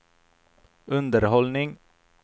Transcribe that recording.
underhållning